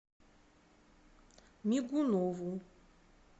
мигунову